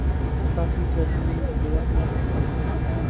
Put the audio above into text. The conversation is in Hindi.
तथापि जज ने दयापूर्वक आज्ञा दे दी